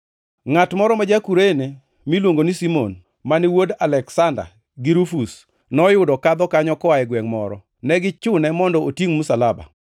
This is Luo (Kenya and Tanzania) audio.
Ngʼat moro ma ja-Kurene miluongo ni Simon, mane wuon Aleksanda gi Rufus, noyudo kadho kanyo koa e gwengʼ moro. Ne gichune mondo otingʼ msalaba.